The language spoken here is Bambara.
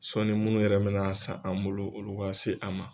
Sɔɔni munnu yɛrɛ bɛna san an bolo olu ka se an ma.